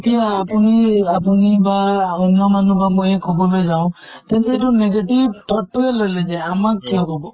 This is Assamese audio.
এতিয়া আপোনি আপোনি বা অন্য় মানুহক মই কʼবলৈ যাও, তেন্তে এইটো negative thought তোয়ে লৈ লয় যে আমাক কিয় কʼব?